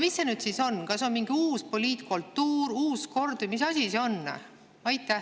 Mis see nüüd siis on, kas see on mingi uus poliitkultuur, uus kord, või mis asi see on?